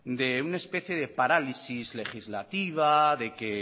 de una especie de parálisis legislativa de que